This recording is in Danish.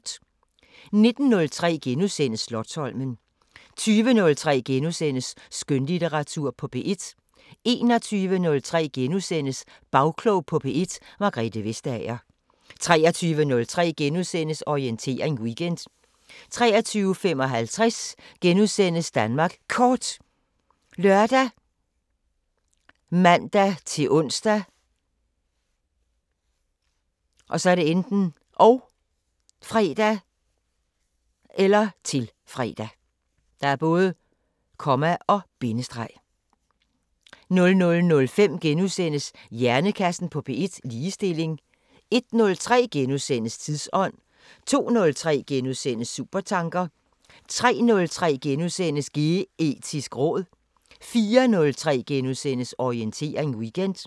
19:03: Slotsholmen * 20:03: Skønlitteratur på P1 * 21:03: Bagklog på P1: Margrethe Vestager * 23:03: Orientering Weekend * 23:55: Danmark Kort *( lør, man-ons, -fre) 00:05: Hjernekassen på P1: Ligestilling * 01:03: Tidsånd * 02:03: Supertanker * 03:03: Geetisk råd * 04:03: Orientering Weekend *